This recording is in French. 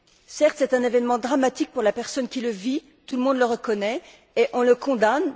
Certes, c'est un événement dramatique pour la personne qui le vit, tout le monde le reconnaît, et on le condamne.